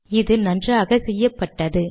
இது நன்றாக செய்யப்பட்டது